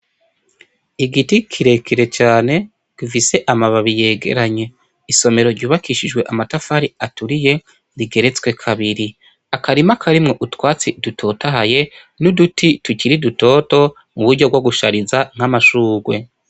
Igiti kirekire cane, gifise amababi yegeranye, isomero ryubakishijwe amatafari aturiye rigeretswe kabiri, akarima karimwo utwatsi dutotahaye, n’uduti tukiri dutoto muburyo bwo gushariza nk’amashurwe.